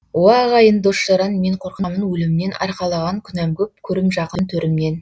уа ағайын дос жаран мен қорқамын өлімнен арқалаған күнәм көп көрім жақын төрімнен